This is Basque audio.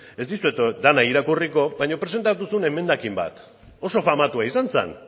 ez dizuet dena irakurriko baina presentatuko zuen emendakin bat oso famatua izan zen